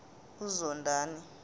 uzondani